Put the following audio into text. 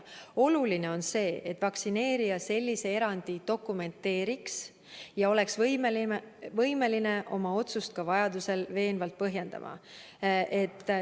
Oluline on see, et vaktsineerija sellise erandi dokumenteeriks ja oleks võimeline oma otsust vajaduse korral ka veenvalt põhjendama.